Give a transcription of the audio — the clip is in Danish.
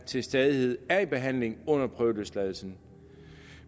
til stadighed er i behandling under prøveløsladelsen